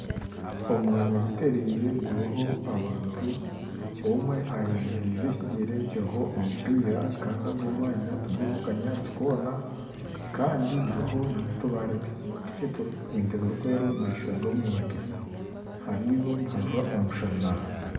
Omwanya guteereire guriho abantu omwe ayemererize ekigyere kiriho omupiira kandi ogu mwanya tiguriho kanyaatsi koona kandi guriho nootubaare tukye n'ebintu birikwera omu maisho g'omuntu, hariyo nihajwa omushana